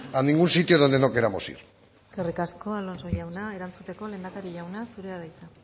a ningún sitio donde no queramos ir eskerrik asko alonso jauna erantzuteko lehendakari jauna zurea da hitza